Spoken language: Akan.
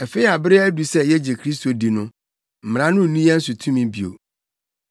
Afei a bere adu sɛ yegye Kristo di no, Mmara no nni yɛn so tumi bio.